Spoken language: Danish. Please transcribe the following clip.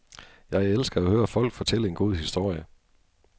Jeg elsker at høre folk fortælle en god historie.